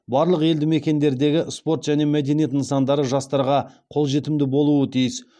барлық елді мекендердегі спорт және мәдениет нысандары жастарға қолжетімді болуы тиіс